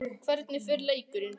Hvernig fer leikurinn?